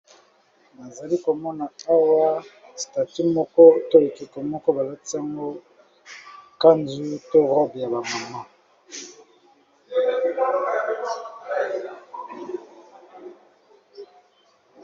Nazali komona awa statut moko to ekeko moko, ba latisi yango kanju to robe ya ba mama.